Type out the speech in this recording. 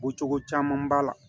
Ko cogo caman b'a la